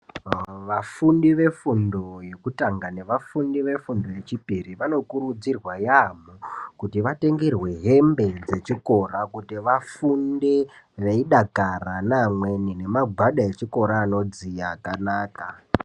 Vanfundi vefundo yekutanga nevafundi vefundo yechipiri vanokurudzirwa yaamho kuti vatengerwe hembe dzechikora kuti vafunde veidakara veida amweni nemagwada echikora anodziya akanaka.